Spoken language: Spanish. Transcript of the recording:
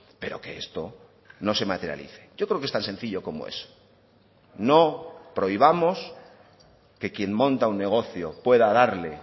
pero que esto no se materialice yo creo que es tan sencillo como eso no prohibamos que quien monta un negocio pueda darle